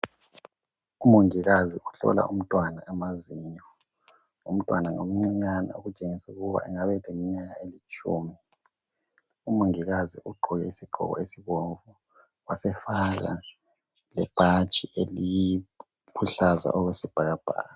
Umongikazi uhlola umntwana amazinyo, umntwana ngomncinyane okutshengisa ukuba engaba lemnyaka elitshumi, umongikazi ugqoke isigqoko sibomvu wasefaka lebhatshi eliluhlaza okwesibhakabhaka.